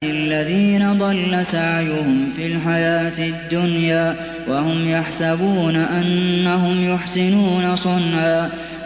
الَّذِينَ ضَلَّ سَعْيُهُمْ فِي الْحَيَاةِ الدُّنْيَا وَهُمْ يَحْسَبُونَ أَنَّهُمْ يُحْسِنُونَ صُنْعًا